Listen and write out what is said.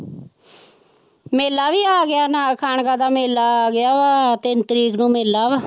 ਮੇਲਾ ਵੀ ਆ ਗਿਆ ਨਾ ਖਾਣਕਾ ਦਾ ਮੇਲਾ ਆ ਗਿਆ ਵਾ ਤਿੰਨ ਤਰੀਕ ਨੂੰ ਮੇਲਾ ਵਾ।